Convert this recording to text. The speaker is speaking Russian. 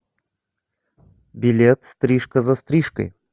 билет стрижка за стрижкой